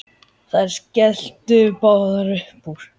Þær skelltu báðar upp úr.